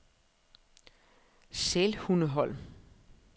Sælhundeholm